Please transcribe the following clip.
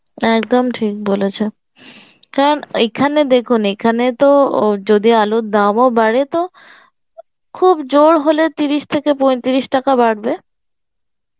একদম ঠিক বলেছে কারণ এখানে দেখুন এখানে তো ও যদি আলুর দামও বাড়ে তো খুব জোর হলে তিরিশ থেকে পৈতিরিশ টাকা বাড়বে